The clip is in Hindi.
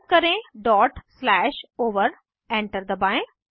टाइप करें डॉट स्लैश ओवर एंटर दबाएं